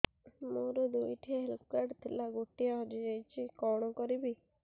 ମୋର ଦୁଇଟି health card ଥିଲା ଗୋଟିଏ ହଜି ଯାଇଛି କଣ କରିବି